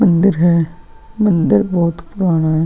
मंदिर है मंदिर बहुत पुराना है ।